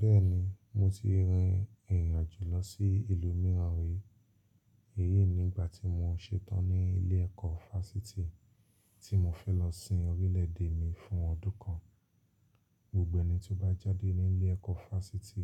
Bẹ́ẹ̀ni, mo ti rin ìrìn àjò lọ sí ìlú mìíràn rí. Èyí ní igbà tí mo ṣetán ní ilé ẹ̀kọ́ fásitì tí mo fẹ́ lọ sin orílẹ̀ èdè mi fún ọdún kan. Gbogbo ẹ̀ni tí ó bá jáde ní ilé ẹ̀kọ́ fásitì